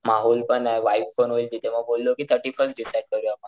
माहोल पण वाईब पण होईल तिथे म्हणून बोललो कि थर्टी फर्स्ट डिसाइड करूया मग.